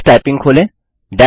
Tux typing खोलें